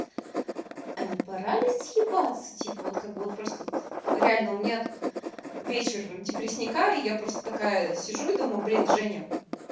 а не пора ли съебаться типа вот как бы вот просто тут реально у меня тут вечер депресняка и я просто такая сижу и думаю блин женя